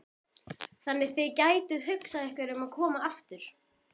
Þannig að þið gætuð hugsað ykkur að koma aftur?